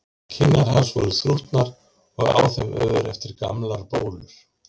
Kinnar hans voru þrútnar og á þeim ör eftir gamlar bólur.